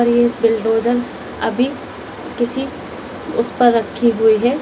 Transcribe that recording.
यह बुलडोजर अभी किसी उस पर रखी हुई है।